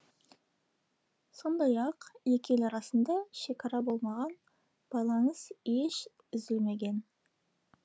сондай ақ екі ел арасында шекара болмаған байланыс еш үзілмеген